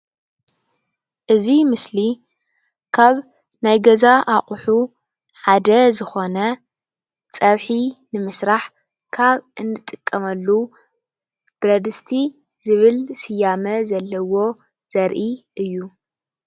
እዚ ምስሊ ካብ ናይ ገዛ እቑሑ ሓደ ዝኾነ ፀብሒ ንምስራሕ ካብ እንጥቀመሉ ብረድስቲ ዝብል ስያመ ዘለዎ ዘርኢ እዩ ።